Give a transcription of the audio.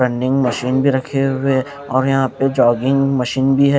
Running machine भी रखे हुए है और यहां पे जॉगिंग मशीन भी है।